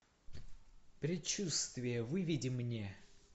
предчувствие выведи мне